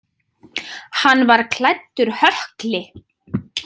Hann var klæddur hökli.